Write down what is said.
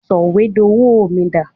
Sọ̀wédowó mi dà?